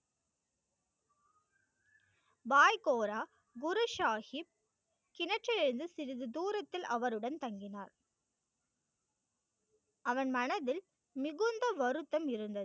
வாய் கோரா குரு சாகிப் கிணற்றிலிருந்து சிறிது தூரத்தில் அவருடன் தங்கினார் அவன் மனதில் மிகுந்த வருத்தம் இருந்தது.